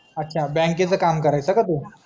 अच्छा बँकेचा काम करायचा का तू